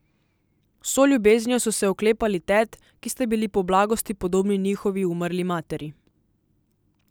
Z vso ljubeznijo so se oklepali tet, ki sta bili po blagosti podobni njihovi umrli materi.